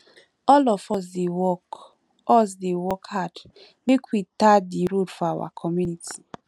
all of us dey work us dey work hard make we tar di road for our community